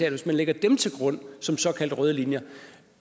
at hvis man lægger dem til grund som såkaldte røde linjer